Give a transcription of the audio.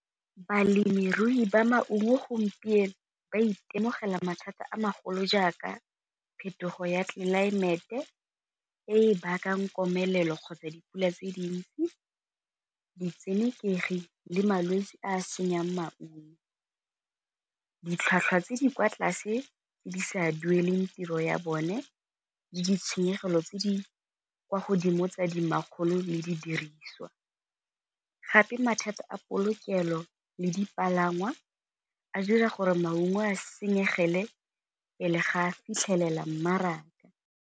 Balemirui ba maungo gompieno ba itemogela mathata a magolo jaaka phetogo ya tlelaemete e bakang komelelo kgotsa dipula tse dintsi, ditshenekegi le malwetse a senyang maungo. Ditlhwatlhwa tse di kwa tlase tse di sa dueleng tiro ya bone le ditshenyegelo tse di kwa godimo tsa di makgolo le di diriswa, gape mathata a polokelo le dipalangwa a dira gore maungo a senyegele pele ga a fitlhelela mmaraka.